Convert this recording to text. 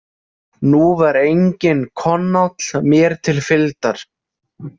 Nú var enginn Konáll mér til fylgdar.